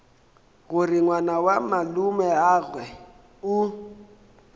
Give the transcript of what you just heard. gore ngwana wa malomeagwe o